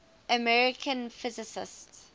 american physicists